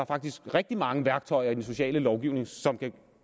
faktisk rigtig mange værktøjer i den sociale lovgivning som man